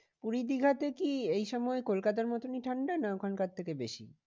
পুরী দীঘাতে কি এই সময় কলকাতার মতোনই ঠান্ডা না ওখান থেকে বেশি?